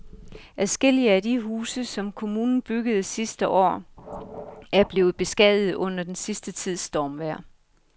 Adskillige af de huse, som kommunen byggede sidste år, er blevet beskadiget under den sidste tids stormvejr.